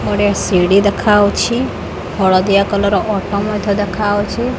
ଗୋଟେ ସିଡ଼ି ଦେଖାଯାଉଛି ହଳଦିଆ କଲର୍ ର ଅଟୋ ମଧ୍ୟ ଦେଖା ଯାଉଛି।